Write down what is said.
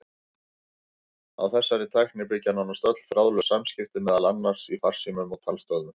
Á þessari tækni byggja nánast öll þráðlaus samskipti, meðal annars í farsímum og talstöðvum.